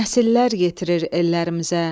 Nəsillər yetirir ellərimizə.